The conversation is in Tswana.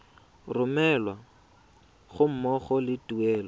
romelwa ga mmogo le tuelo